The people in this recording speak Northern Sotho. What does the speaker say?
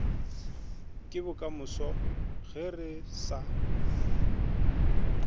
ke bokamoso ge re sa